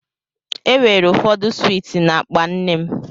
E weere ụfọdụ swiiti na-akpa nne m.